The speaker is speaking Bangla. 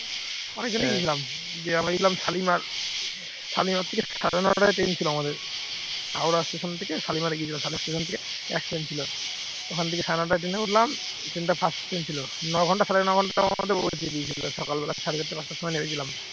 শালিমার থেকে সাড়ে নটায় ট্রেন ছিল আমাদের হাওড়া স্টেশন থেকে শালিমার গিয়েছিলাম, শালিমার স্টেশন থেকে এক ট্রেন ছিল, ওখান থেকে সাড়ে নটায় ট্রেন উঠলাম ওই ট্রেন টা first ট্রেন ছিল ন ঘন্টা সাড়ে ন ঘন্টা দিয়ে পৌঁছে দিয়েছিল সকালবেলা সাড়ে চারটে পাঁচটার সময় নেমেছিলাম